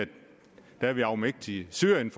at vi er afmægtige i syrien